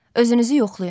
Özünüzü yoxlayın.